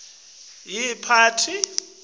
visisa takhi netimiso